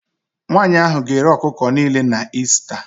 Nwanyị ahụ ga-ere ọkụkọ niile na Ista